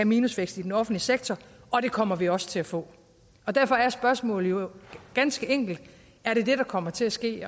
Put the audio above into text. minusvækst i den offentlige sektor og det kommer vi også til at få derfor er spørgsmålet jo ganske enkelt er det det der kommer til at ske